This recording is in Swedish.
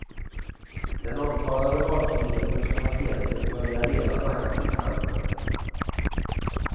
Den omtalade valfriheten för patienten börjar redan naggas i kanten.